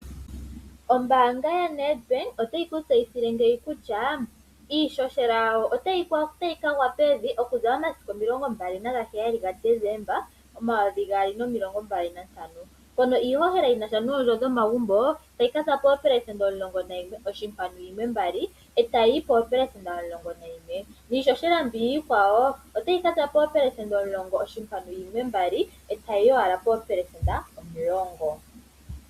Ombaanga yaNEDBANK otayi kutseyithile ngeyi kutya iishoshela yawo otyi kagwa pevi okuza momasiku omilongo mbali naheyali ga Decemba omayovi gaali momilongo mbali nantano mpono iihohela yinasha noondjo dhomagumbo tayi ka sza pooopelesenda omilongo mbali nayimwe oshimpwanu yimwe mbali eta yiyi poopelesenda omulongo nayimwe niihohela mbiya iikwawo otyika za poopesesenda omulongo yimwe mbali etayi yi wala poopesesenda omulongo.